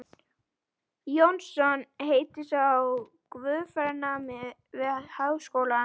Jónsson heitir sá, guðfræðinemi við Háskólann.